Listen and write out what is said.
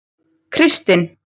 Kristin